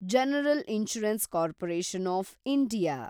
general insurance corporation of India